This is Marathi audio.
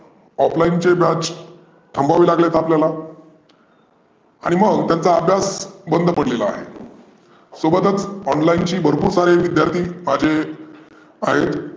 Offline चे batch थांबवावे लागले आपल्याला. आणि मग त्यांचा अभ्यास बंद पडलेला आहे. सोबतचं online ची भरपुर सारे विद्यार्थी माझे आहे.